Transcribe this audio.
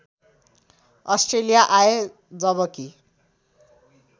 Australia आए जबकि